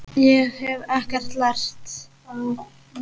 Ég hef ekkert lært.